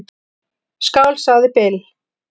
"""Skál, sagði Bill."""